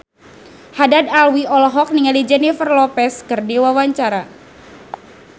Haddad Alwi olohok ningali Jennifer Lopez keur diwawancara